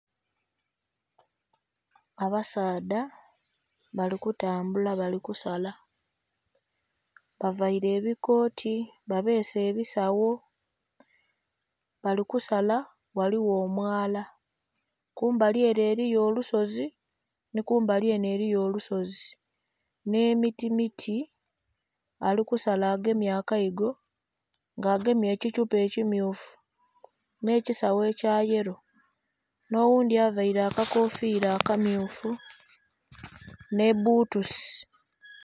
Abasaadha bali kutambula balikusala bavaire ebikoti babese ebisawo. Balikusala ghaligho omwala kumbali ere eriyo olusozi nikumbali eno eriyo olusozi n'emiti miti alikusala agemye agaigo nga agemye ekithupa ekimmyufu n'ekisawo ekya yelo n'oghundhi avaire akakofira akammyufu n'ebbutusi.